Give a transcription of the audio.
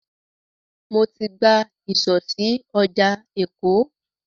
Mo ti gba ìsọ̀ sí ọjà Èkó.